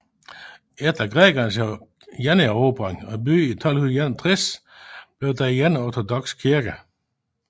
Efter grækernes generobring af byen i 1261 blev den igen ortodoks kirke